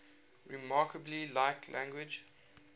remarkably like language